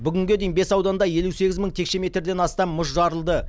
бүгінге дейін бес ауданда елу сегіз мың текше метрден астам мұз жарылды